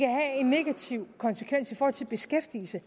negativ konsekvens i forhold til beskæftigelsen